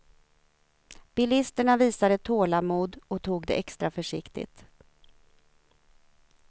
Bilisterna visade tålamod och tog det extra försiktigt.